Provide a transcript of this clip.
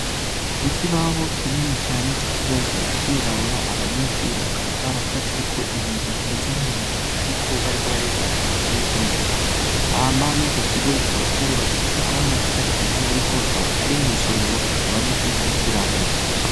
Ikibaho kinini cane ico kibaho kikaba cirabura abanyeshure bakaba baracafyeko ibintu bimeze nk,umuntu ariko bariko barerekana ibice vy,umuntu hama mwico kigo kikaba carubakishijwe amwe namatafari ahiye ariko kikaba kiri mukigo abanyeshure bigiramwo